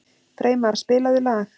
Freymar, spilaðu lag.